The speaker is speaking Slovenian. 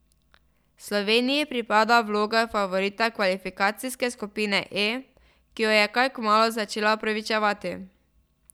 Sloveniji pripada vloga favorita kvalifikacijske skupine E, ki jo je kaj kmalu začela upravičevati.